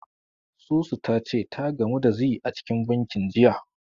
Susu ta ce ta gamu da Zee a cikin bankin, jiya.